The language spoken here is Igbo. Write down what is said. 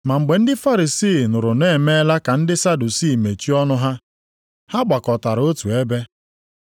Ma mgbe ndị Farisii nụrụ na ọ emeela ka ndị Sadusii mechie ọnụ ha, ha gbakọtara otu ebe.